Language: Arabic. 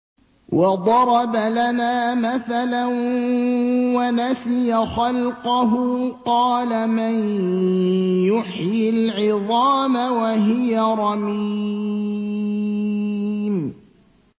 وَضَرَبَ لَنَا مَثَلًا وَنَسِيَ خَلْقَهُ ۖ قَالَ مَن يُحْيِي الْعِظَامَ وَهِيَ رَمِيمٌ